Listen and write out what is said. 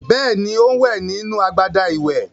Bẹ́ẹ̀ni, ó ń wẹ̀ nínú agbada ìwẹ̀.